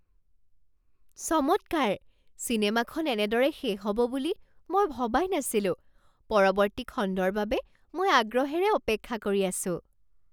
চমৎকাৰ! চিনেমাখন এনেদৰে শেষ হ'ব বুলি মই ভবাই নাছিলো। পৰৱৰ্তী খণ্ডৰ বাবে মই আগ্ৰহেৰে অপেক্ষা কৰি আছো।